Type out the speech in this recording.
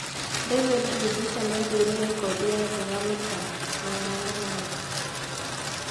David Rudisha nĩaigire rekondi ya thĩ ya mita 800.